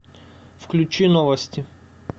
включи новости